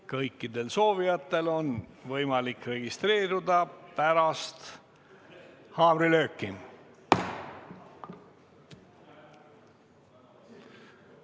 Kõikidel soovijatel on võimalik registreeruda pärast haamrilööki.